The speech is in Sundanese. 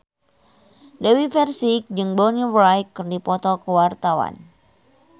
Dewi Persik jeung Bonnie Wright keur dipoto ku wartawan